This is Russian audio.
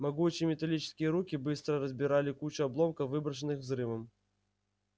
могучие металлические руки быстро разбирали кучу обломков выброшенных взрывом